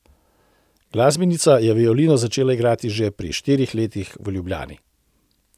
Glasbenica je violino začela igrati že pri štirih letih v Ljubljani.